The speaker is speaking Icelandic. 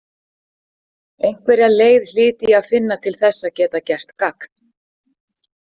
Einhverja leið hlyti ég að finna til þess að geta gert gagn.